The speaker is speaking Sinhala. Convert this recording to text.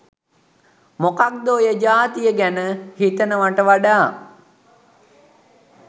මොකද ඔය ජාතිය ගැන හිතනවට වඩා